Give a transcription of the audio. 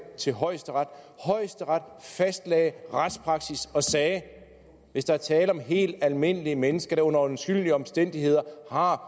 til højesteret højesteret fastlagde retspraksis og sagde hvis der er tale om helt almindelige mennesker der under undskyldelige omstændigheder har